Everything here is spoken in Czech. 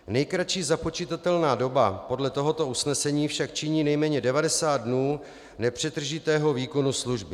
Nejkratší započitatelná doba podle tohoto usnesení však činí nejméně 90 dnů nepřetržitého výkonu služby.